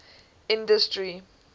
industry